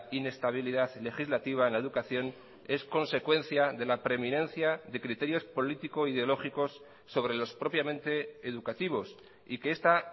inestabilidad legislativa en la educación es consecuencia de la preeminencia de criterios político ideológicos sobre los propiamente educativos y que esta